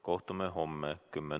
Kohtume homme kell 10.